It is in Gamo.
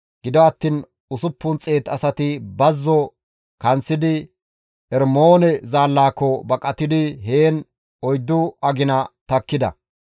Gido attiin 600 asati bazzo kanththidi Ermoone zaallaako baqatidi heen 4 agina takkida.